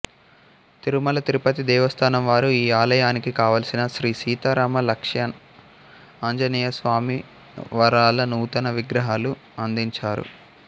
తిరుమల తిరుపతి దేవస్థానం వారు ఈ ఆలయానికి కావలసిన శ్రీ సీతా రామ లక్ష్మణ ఆంజనేయస్వామివారల నూతన విగ్రహాలు అందించారు